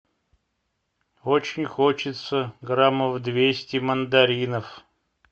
очень хочется граммов двести мандаринов